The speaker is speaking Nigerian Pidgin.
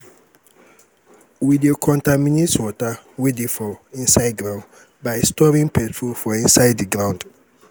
we dey conterminate water wey dey for inside ground by storing petrol for inside di ground